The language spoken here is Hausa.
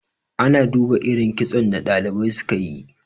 ana duba irin kitson da dalibai suka yi